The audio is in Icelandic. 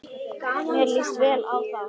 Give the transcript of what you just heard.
Mér líst vel á þá.